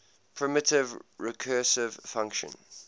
primitive recursive function